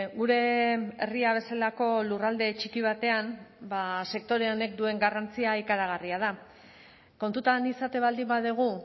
gure herria bezalako lurralde txiki batean ba sektore honek duen garrantzia ikaragarria da kontutan izaten baldin badugu